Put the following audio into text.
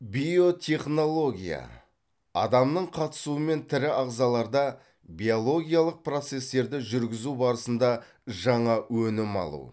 биотехнология адамның қатысуымен тірі ағзаларда биологиялық процестерді жүргізу барысында жаңа өнім алу